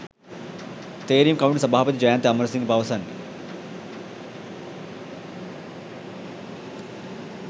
තේරීම් කමිටු සභාපති ජයන්ත අමරසිංහ පවසන්නේ.